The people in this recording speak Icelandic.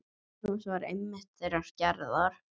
Magnús var einmitt þeirrar gerðar.